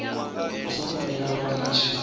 vha songo vhuya vha litsha